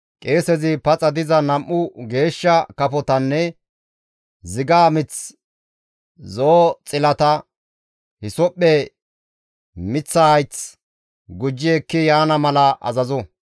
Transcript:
qeesezi paxa diza nam7u geeshsha kafotanne ziga mith, zo7o xilata, hisophphe miththa hayth gujji ekki yaana mala azazo.